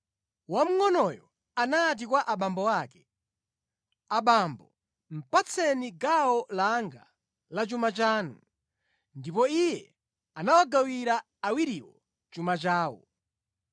Wamngʼonoyo anati kwa abambo ake, ‘Abambo, patseni gawo langa la chuma chanu.’ Ndipo iye anawagawira awiriwo chuma chawo.